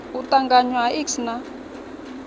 u ṱanganywa ha iks na